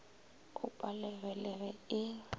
o palege le ge e